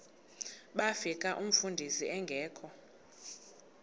bafika umfundisi engekho